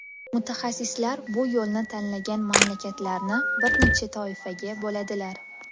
Mutaxassislar bu yo‘lni tanlagan mamlakatlarni bir necha toifaga bo‘ladilar.